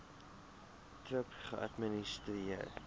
thrip geadministreer